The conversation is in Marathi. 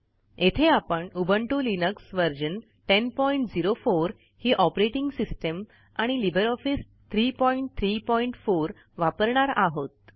येथे आपण उबंटू लिनक्स व्हर्जन 1004 ही ऑपरेटिंग सिस्टिम आणि लिबर ऑफिस 334 वापरणार आहोत